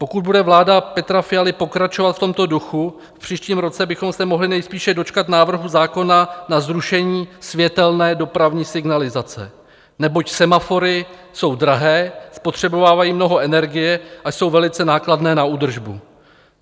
Pokud bude vláda Petra Fialy pokračovat v tomto duchu, v příštím roce bychom se mohli nejspíše dočkat návrhu zákona na zrušení světelné dopravní signalizace, neboť semafory jsou drahé, spotřebovávají mnoho energie a jsou velice nákladné na údržbu.